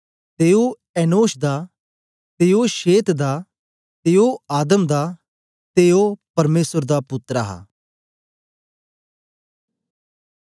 ते ओ एनोश दा ते ओ शेत दा ते ओ आदम दा ते ओ परमेसर दा पुत्तर हा